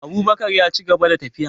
Abubakar yaci gaba da tafiya